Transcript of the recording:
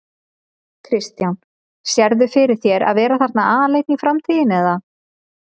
Kristján: Sérðu fyrir þér að vera þarna aleinn í framtíðinni eða?